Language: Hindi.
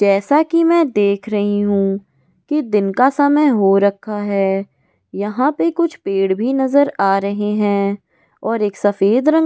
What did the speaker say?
जैसा कि मैं देख रही हूं कि दिन का समय हो रखा है यहां पर कुछ पेड़ भी नजर आ रहे हैं और एक सफेद रंग --